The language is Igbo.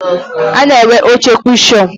A na-enwe oche kushọn.